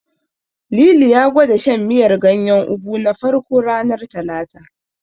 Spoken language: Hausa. Lili ya gwada shan miyar ganyen Ugu na farko, ranar Talata.